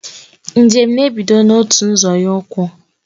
Njem na ebido n'otu nzọnye ukwu